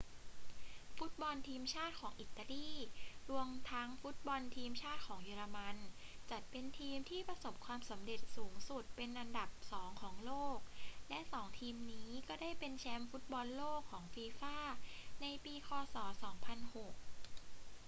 ฟุตบอลทีมชาติของอิตาลี รวมทั้งฟุตบอลทีมชาติของเยอรมันจัดเป็นทีมที่ประสบความสำเร็จสูงสุดเป็นอันดับสองของโลก และสองทีมนี้ก็ได้เป็นแชมป์ฟุตบอลโลกของฟีฟ่าในปีค ศ. 2006